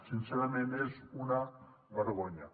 sincerament és una vergonya